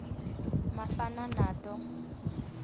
mafanato